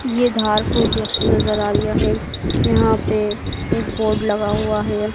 ये धारपुर जंक्शन नजर आ रिया है यहां पे एक बोर्ड लगा हुआ है।